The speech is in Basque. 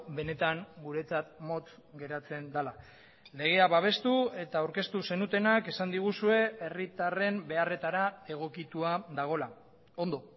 benetan guretzat motz geratzen dela legea babestu eta aurkeztu zenutenak esan diguzue herritarren beharretara egokitua dagoela ondo